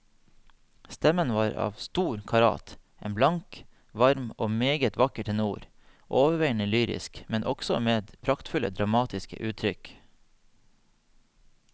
Stemmen var av stor karat, en blank, varm og meget vakker tenor, overveiende lyrisk, men også med praktfulle dramatiske uttrykk.